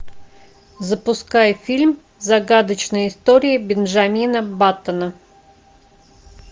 запускай фильм загадочная история бенджамина баттона